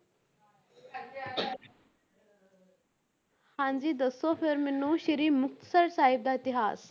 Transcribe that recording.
ਹਾਂਜੀ ਦੱਸੋ ਫਿਰ ਮੈਨੂੰ ਸ੍ਰੀ ਮੁਕਤਸਰ ਸਾਹਿਬ ਦਾ ਇਤਿਹਾਸ।